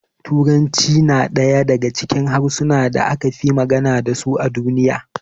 Turanci yana daya daga cikin harsunan da aka fi magana dasu a duniya